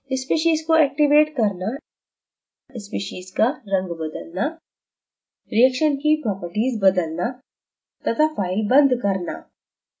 speciesको activate करना speciesका रंग बदलना reaction की properties बदलना तथा file बंद करना